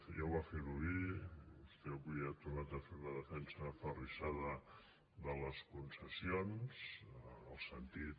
ja va fer ho ahir vostè avui ha tornat a fer una defensa aferrissada de les concessions en el sentit